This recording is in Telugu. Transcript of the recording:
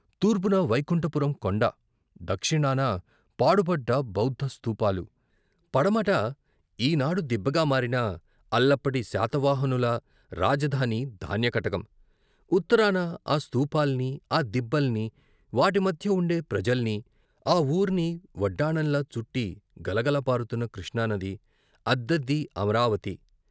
తూర్పున వైకుంఠపురం కొండ, దక్షిణాన పాడుపడ్డ బౌద్ధ స్తూపాలు, పడమట ఈనాడు దిబ్బగా మారిన అల్లప్పటి శాతవాహనులు రాజధాని ధాన్యకటకం, ఉత్తరాన ఆ స్తూపాల్ని, ఆ దిబ్బల్ని వాటి మధ్య ఉండే ప్రజల్ని, ఆ ఊర్ని వడ్డాణంలా చుట్టి గలగల పారుతున్న కృష్ణానది, అద్దదీ అమరావతి.